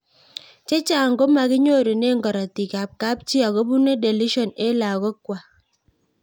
Chechang' komakinyorune karatik ab kapchii akopune deletion eng' lagok kwai